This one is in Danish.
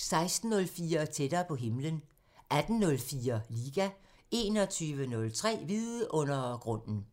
16:04: Tættere på himlen 18:04: Liga 21:03: Vidundergrunden